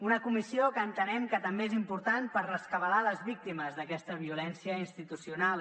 una comissió que entenem que també és important per rescabalar les víctimes d’aquesta violència institucional